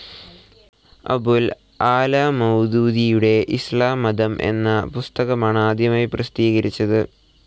അബുൽ അഅ്‌ലാ മൗദൂദിയുടെ ഇസ്ലാംമതം എന്ന പുസ്തകമാണ് ആദ്യമായി പ്രസിദ്ധീകരിച്ചത്.